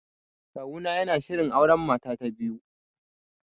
Kawuna yana shirin auren mata ta biyu